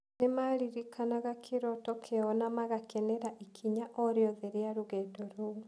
Nĩ maaririkanaga kĩroto kĩao na magakenera ikinya o rĩothe rĩa rũgendo rũu